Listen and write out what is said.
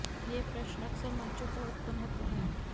ये प्रश्न अक्सर मंचों पर उत्पन्न होते हैं